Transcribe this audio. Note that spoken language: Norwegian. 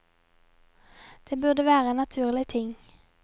Det burde være en naturlig ting.